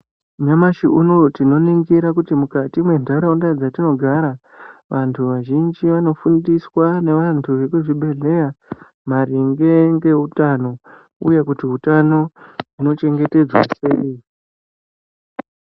Nyamashi unowu tinonigira kuti mukati mwendaraunda dzetinogara vandu vazhinji vanofundiswa nevandu vekuzvibhedhleya maringe ngeutano uye kuti utano hunochengetedzwa sei.